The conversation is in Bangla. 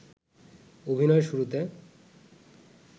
অভিনয়য়ের শুরুতে